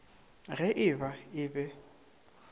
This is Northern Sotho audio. ge e ba e be